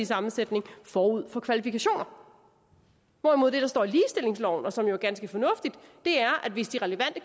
sammensætning forud for kvalifikationer hvorimod det der står i ligestillingsloven og som jo er ganske fornuftigt er at hvis de relevante